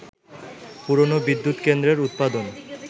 পুরনো বিদ্যুৎকেন্দ্রের উৎপাদন